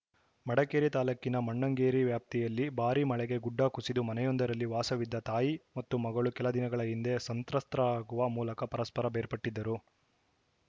ಮಡಿಕೇರಿ ತಾಲೂಕಿನ ಮೊಣ್ಣಂಗೇರಿ ವ್ಯಾಪ್ತಿಯಲ್ಲಿ ಭಾರೀ ಮಳೆಗೆ ಗುಡ್ಡ ಕುಸಿದು ಮನೆಯೊಂದರಲ್ಲಿ ವಾಸವಿದ್ದ ತಾಯಿ ಮತ್ತು ಮಗಳು ಕೆಲದಿನಗಳ ಹಿಂದೆ ಸಂತ್ರಸ್ತರಾಗುವ ಮೂಲಕ ಪರಸ್ಪರ ಬೇರ್ಪಟ್ಟಿದ್ದರು